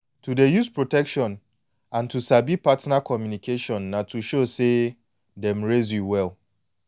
to dey use protection and to sabi partner communication na to show say dem raise you well